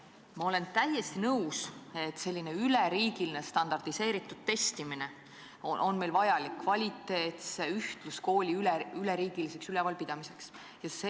Ma olen täiesti nõus, et selline üleriigiline standardiseeritud testimine on meile kvaliteetse ühtluskooli üleriigiliseks ülalpidamiseks vajalik.